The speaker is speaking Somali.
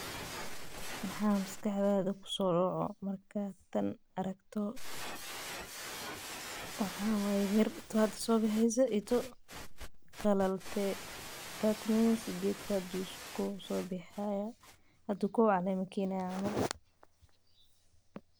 Maxaa maskaxda kusodacaya marki hoshan aa aragto mir qalalshe iyo tu hada sobaxeyso marka geedka hada ayu kow mir kenaya.